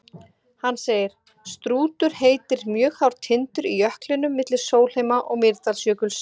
Hann segir: Strútur heitir mjög hár tindur í jöklinum milli Sólheima- og Mýrdalsjökuls.